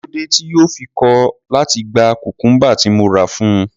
Kí ló dé tí yóò fi kọ̀ láti gba cucumber tí mo rà fún un?